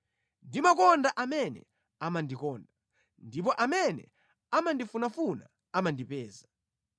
Ndimakonda amene amandikonda, ndipo amene amandifunafuna amandipeza.